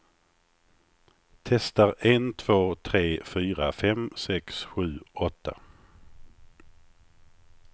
Testar en två tre fyra fem sex sju åtta.